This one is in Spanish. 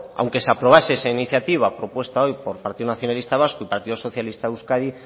aunque se aprobase esa iniciativa propuesta hoy por el partido nacionalista vasco y partido socialista de euskadi